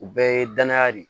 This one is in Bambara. U bɛɛ ye danaya de ye